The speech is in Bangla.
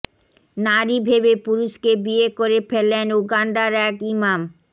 নারী ভেবে পুরুষকে বিয়ে করে ফেললেন উগান্ডার এক ইমাম